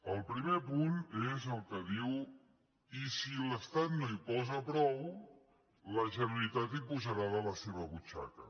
el primer punt és el que diu i si l’estat no hi posa prou la generalitat hi posarà de la seva butxaca